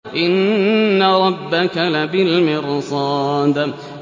إِنَّ رَبَّكَ لَبِالْمِرْصَادِ